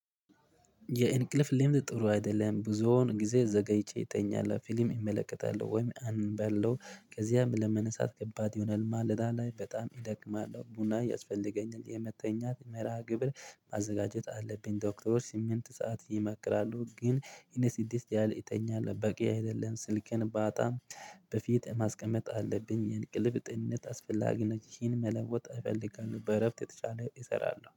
የእንቅልፍ ልምድ ጥሩ አይደለም ብዙውን ጊዜ ዘገይቼ እተኛለሁ ፊልም እመለከታለሁ ወይም አነባለው ከዚያም ለመነሳት ከባድ ይሆናል ማለዳ ላይ በጣም እደክማለሁ ቡና ያስፈልገኛል። የመተኛት መርሃግብር ማዘጋጀት አለብኝ። ዶክተሮች ስምንት ሰዓት ይመክራሉ። ግን እኔ ስድስት ያህል እተኛለሁ በቂ አይደለም። ስልኬን ባጣም በፊት ማስቀመጥ አለብኝ። የእንቅልፍ ጤንነት አስፈላጊ ነው። ይህን መለወጥ እፈልጋለሁ በእረፍት የተቻለ እሰራለሁ